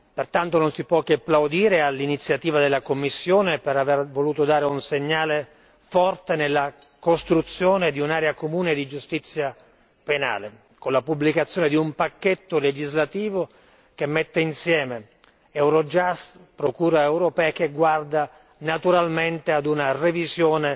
Pertanto non si può che plaudire all'iniziativa della Commissione per aver voluto dare un segnale forte nella costruzione di un'area comune di giustizia penale, con la pubblicazione di un pacchetto legislativo che mette insieme Eurojust e procura europea che guarda naturalmente a una revisione